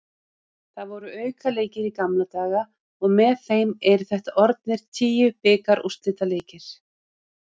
Það voru aukaleikir í gamla daga og með þeim eru þetta orðnir tíu bikarúrslitaleikir.